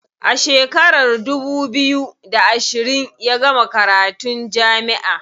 A shekarar dubu biyu da ashirin ya gama karatun jami'a.